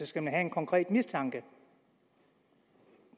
skal have en konkret mistanke